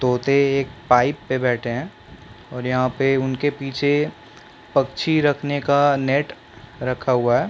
तोते एक पाइप पे बैठे है और यहाँ उनके पीछे पक्षी रखने का नेट रखा हुआ है ।